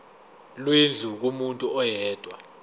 lwendlu kumuntu oyedwa